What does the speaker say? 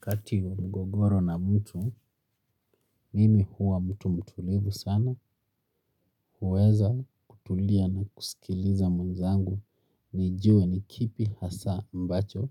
Kati wa mgogoro na mtu, mimi huwa mtu mtulivu sana huweza kutulia na kusikiliza mwenzangu nijue nikipi hasaa ambacho